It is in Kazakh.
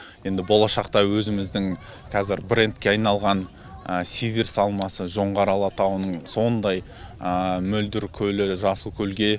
енді болашақта өзіміздің қазір брендке айналған сиверс алмасы жоңғар алатауының сондай мөлдір көлі жасылкөлге